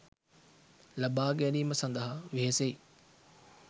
ලබා ගැනීම සඳහා වෙහෙසෙයි.